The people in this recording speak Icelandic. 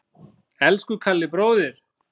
Elsku Kalli bróðir.